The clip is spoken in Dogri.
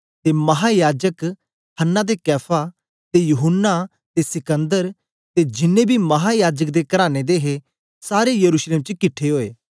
ते माहायाजक हन्ना ते कैफा ते यूहन्ना ते सिकन्दर ते जिनैं बी महायाजक दे कराने दे हे सारे यरूशलेम च किट्ठे ओए